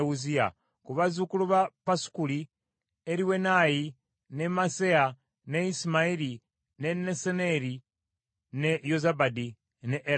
Ku bazzukulu ba Pasukuli: Eriwenayi, ne Maaseya, ne Isimayiri, ne Nesaneri, ne Yozabadi ne Erasa.